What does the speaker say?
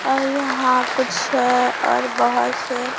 और यहाॅं कुछ हैं और बहोत से--